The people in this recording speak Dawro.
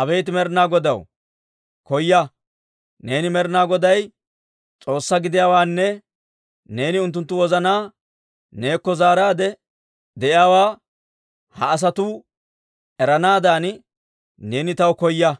Abeet Med'inaa Godaw, koya! Neeni Med'inaa Goday s'oossaa gidiyaawaanne neeni unttunttu wozanaa neekko zaaraadde de'iyaawaa ha asatuu eranaadan neeni taw koya!»